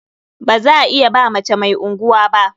Ba za iya ba mace mai unguwa ba.